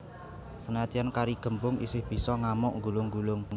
Senadyan kari gembung isih bisa ngamuk nggulung nggulung